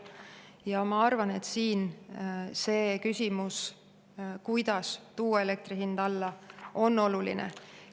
Ja ma arvan, et siin see küsimus, kuidas tuua elektri hind alla, on oluline.